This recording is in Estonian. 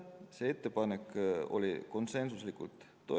Seda ettepanekut toetati konsensuslikult.